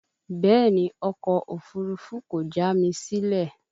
Bẹ́ẹ̀ni, ọkọ̀ òfurufú kò já mi sílẹ̀